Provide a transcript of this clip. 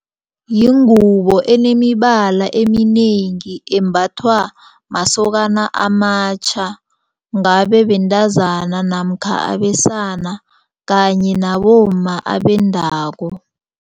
Yingubo enemibala eminengi embathwa masokana amatjha ngabe bentazana namkha abesana kanye nabomma abendako.